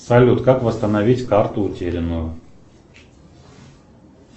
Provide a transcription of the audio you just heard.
салют как восстановить карту утерянную